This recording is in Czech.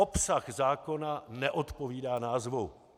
Obsah zákona neodpovídá názvu.